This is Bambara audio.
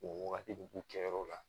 O wagati de k'u kɛyɔrɔ la